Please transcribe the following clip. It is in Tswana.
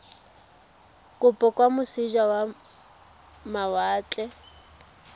kopo kwa moseja wa mawatle